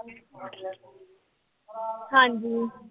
ਹਾਂਜੀ।